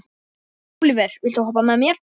Ólíver, viltu hoppa með mér?